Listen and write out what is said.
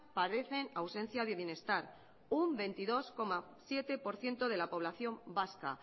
padecen ausencia de bienestar un veintidós coma siete por ciento de la población vasca